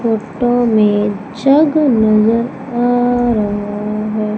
Photo में jug नजर आ रहा है।